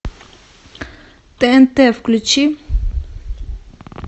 тнт включи